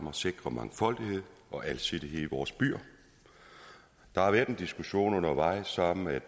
at sikre mangfoldighed og alsidighed i vores byer der har været en diskussion undervejs om at